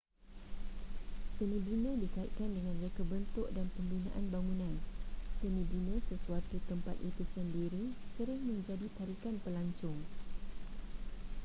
senibina dikaitkan dengan reka bentuk dan pembinaan bangunan seni bina sesuatu tempat itu sendiri sering menjadi tarikan pelancong